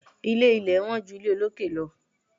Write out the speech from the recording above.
Ilé ilẹ̀ wọ́n ju ilé olókè lọ.